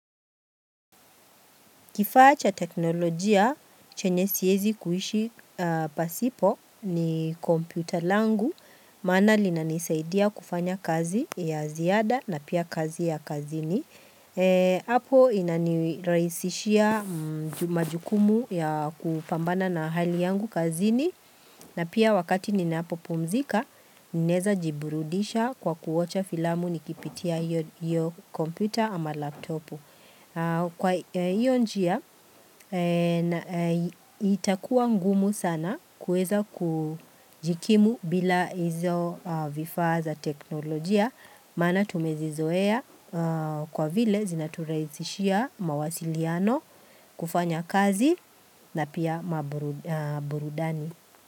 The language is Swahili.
Kifaa cha teknolojia chenye siezi kuishi pasipo ni kompyuta langu, maana lina nisaidia kufanya kazi ya ziada na pia kazi ya kazini. Apo inaniraisishia majukumu ya kupambana na hali yangu kazini na pia wakati ninapo pumzika, ninaeza jiburudisha kwa kuocha filamu nikipitia hiyo kompyuta ama laptopu. Kwa hiyo njia itakuwa ngumu sana kueza kujikimu bila hizo vifaa za teknolojia Maana tumezi zoea kwa vile zinaturahisishia mawasiliano kufanya kazi na pia maburudani.